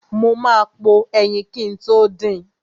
Mo ma po ẹyin kin tó din.